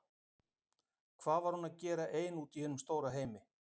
Hvað var hún að gera ein úti í hinum stóra heimi?